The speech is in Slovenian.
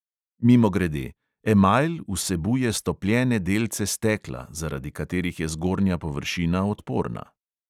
Mimogrede: emajl vsebuje stopljene delce stekla, zaradi katerih je zgornja površina odporna.